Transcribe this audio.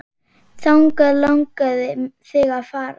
Þangað langaði þig að fara.